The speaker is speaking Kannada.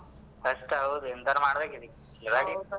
ಕಷ್ಟ, ಹೌದು ಎಂತಾದ್ರೂ ಮಾಡ್ಬೇಕು ಇದಕ್ಕೆ.